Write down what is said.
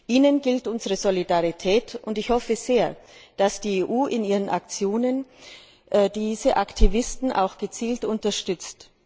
Ihnen gilt unsere Solidarität, und ich hoffe sehr, dass die EU in ihren Aktionen diese Aktivisten auch gezielt unterstützt.